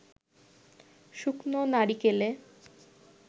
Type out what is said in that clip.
শুকনো নারিকেলে